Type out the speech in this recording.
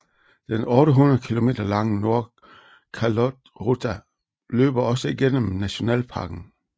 Den 800 km lange Nordkalottruta løber også gennem nationalparken